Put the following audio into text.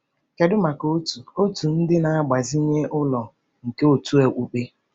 Kedu maka otu otu ndị na-agbazinye ụlọ nke òtù okpukpe?